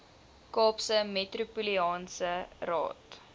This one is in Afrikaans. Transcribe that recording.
kaapse metropolitaanse raad